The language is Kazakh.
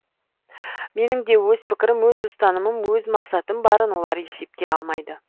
менің де өз пікірім өз ұстанымым өз мақсатым барын олар есепке алмайды